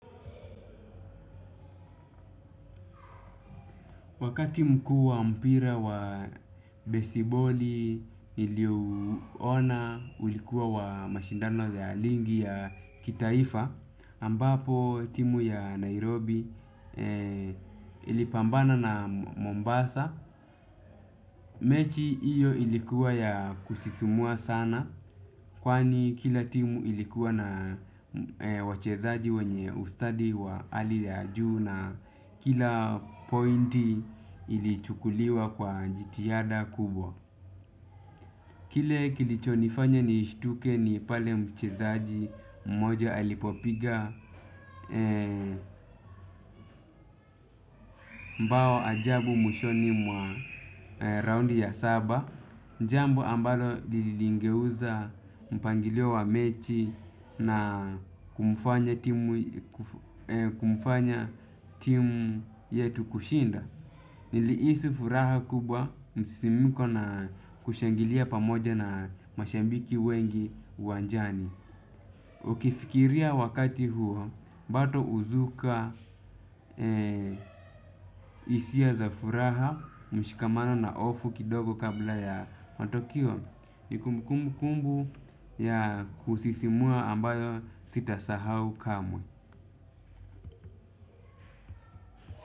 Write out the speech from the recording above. Wakati mkuu wa mpira wa besiboli ili uona ulikuwa wa mashindano ya ligi ya kitaifa ambapo timu ya Nairobi ilipambana na Mombasa. Mechi iyo ilikuwa ya kusisumua sana. Kwani kila timu ilikuwa na wachezaji wenye ustadi wa ali ya juu na kila pointi ilichukuliwa kwa jitihada kubwa. Kile kilicho nifanya nishtuke ni pale mchezaji mmoja alipopiga mbao ajabu mwishoni mwa raundi ya saba. Njambo ambalo lilingeuza mpangilio wa mechi na kumufanya timu yetu kushinda. Niliisi furaha kubwa msisimuko na kushangilia pamoja na mashabiki wengi uwanjani. Ukifikiria wakati huo, bado uzuka isia za furaha mshikamano na ofu kidogo kabla ya matokeo ni kumbukumbu kumbu ya kusisimua ambayo sita sahau kamwe.